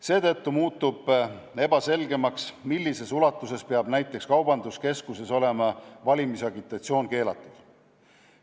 Seetõttu on muutunud ebaselgemaks, millises ulatuses peaks näiteks kaubanduskeskuses olema valimisagitatsioon keelatud.